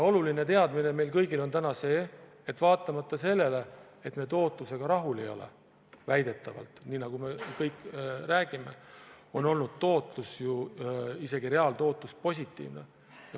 Oluline teadmine meil kõigil on täna see, et vaatamata sellele, et me tootlusega rahul ei ole – väidetavalt, nii nagu me kõik räägime –, on olnud tootlus, isegi reaaltootlus positiivne.